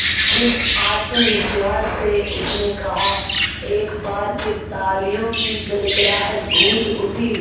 जिस आत्मविश्वास से उसने कहा एक बार फिर तालियों की गड़गड़ाहट गूंज उठी